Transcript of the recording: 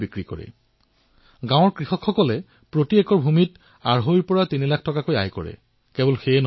আজি গাঁৱৰ কৃষকসকলে ছুইট কৰ্ণ আৰু বেবী কৰ্ণৰ খেতি কৰি প্ৰতি হেক্টৰ ভূমিত আঢ়ৈৰ পৰা তিনি লাখ টকালৈ উপাৰ্জন কৰি আছে